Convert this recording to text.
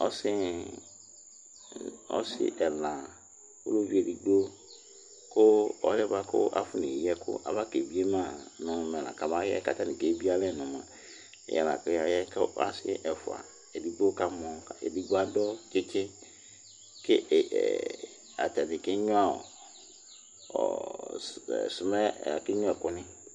Ɔsɩ ɛla, ʊlʊʋɩ edigbo, ƙʊ ɔlɩɛ buakʊ afɔneyɩ ɛkʊ aba kebɩe ma ŋʊ m3 kamaƴɛ katanɩ ebɩe alɛ nʊ yɛ ƙʊ yaƴɛ Edigbo kamɔ kʊ adʊ tsitsɩ Kʊ atanɩ keɣŋʊa ɛkʊnɩ